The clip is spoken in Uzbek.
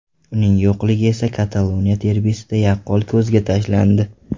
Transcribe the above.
Uning yo‘qligi esa Kataloniya derbisida yaqqol ko‘zga tashlandi.